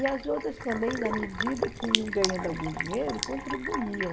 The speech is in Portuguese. E as outras também, na medida que iam ganhando algum dinheiro, contribuíam.